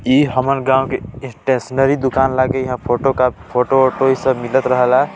इ हमर गाँवो के स्टेशनरी दुकान लागे यहाँ फोटो फोटो वोटो इ सब मिलत रहाला।